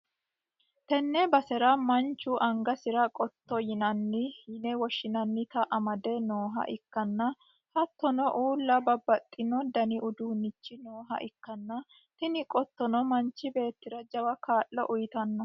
tenne basera manchu angasi'ra qotto yine woshhsi'nannita amade nooha ikkanna, hattono uulla babbaxxino dani uduunnichi nooha ikkanna, tini qottono manchi beettira jawa kaa'lo uytanno.